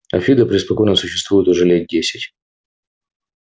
а фидо преспокойно существует уже лет десять